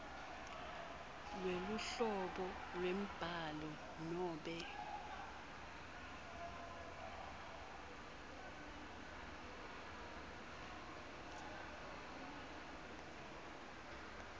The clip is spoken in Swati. lweluhlobo lwembhalo nobe